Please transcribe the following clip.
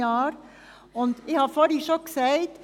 Ich habe es bereits vorhin gesagt: